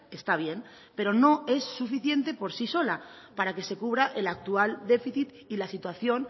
está bien pero no es suficiente por sí sola para que se cubra el actual déficit y la situación